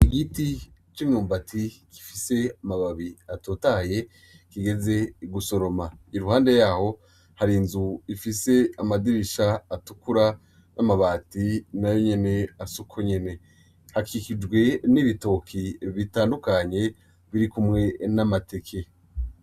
Igiti c'umwumbati gifise amababi atotahaye kigeze gusoroma, iruhande Hari inzu ifise amadirisha atukura n'amabati nayonyene Asa uko nyene. Hakikijwe nibitoki bitandukanye irikumwe n'amateke.